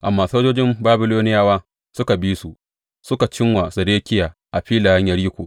Amma sojojin Babiloniyawa suka bi su, suka ci wa Zedekiya a filayen Yeriko.